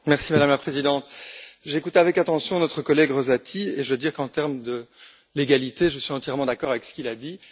Madame la Présidente, j'ai écouté avec attention notre collègue Rosati, et je veux dire qu'en termes de légalité, je suis entièrement d'accord avec ce qu'il a dit.